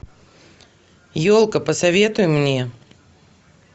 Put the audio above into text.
елка посоветуй мне